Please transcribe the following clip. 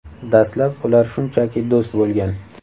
Dastlab ular shunchaki do‘st bo‘lgan.